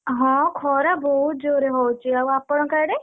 ହଁ ଖରା ବହୁତ ଜୋରେ ହଉଚି, ଆଉ ଆପଣଙ୍କ ଆଡେ?